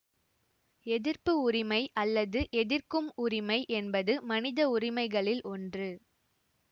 எதிர்ப்பு உரிமை அல்லது எதிர்க்கும் உரிமை என்பது மனித உரிமைகளில் ஒன்று